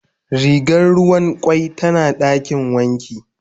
Rigar ruwan kwai tana dakin wanki.